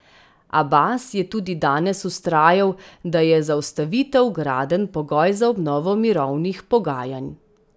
Abas je tudi danes vztrajal, da je zaustavitev gradenj pogoj za obnovo mirovnih pogajanj.